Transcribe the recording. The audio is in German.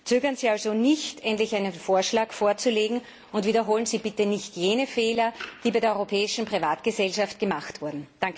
Zögern Sie also nicht, endlich einen Vorschlag vorzulegen, und wiederholen Sie bitte nicht jene Fehler, die bei der europäischen Privatgesellschaft gemacht wurden.